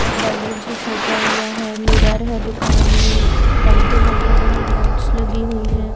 और बालून से सजा हुआ है मिरर है दुकान में पंखे लगे हुए हैं लाइट्स लगी हुई हैं।